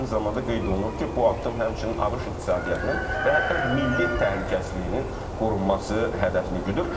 və eyni zamanda qeyd olunur ki, bu addım həmçinin ABŞ iqtisadiyyatının və hətta milli təhlükəsizliyinin qorunması hədəfini güdür.